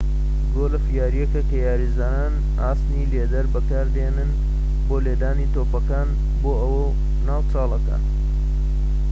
گۆڵف یاریەکە کە یاریزان ئاسنی لێدەر بەکاردێنێت بۆ لێدانی تۆپەکان بۆ ناو چاڵەکان